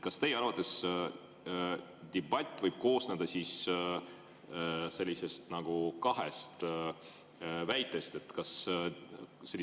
Kas teie arvates debatt võib koosneda kahest väitest?